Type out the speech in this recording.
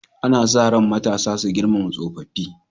Ana sa ran matasa su girmama tsofaffi.